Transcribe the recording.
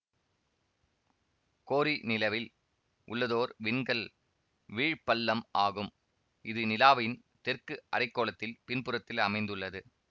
கோரி நிலவில் உள்ளதோர் விண்கல் வீழ் பள்ளம் ஆகும் இது நிலாவின் தெற்கு அரை கோளத்தில் பின்புறத்தில் அமைந்துள்ளது